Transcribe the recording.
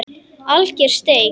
Alger steik.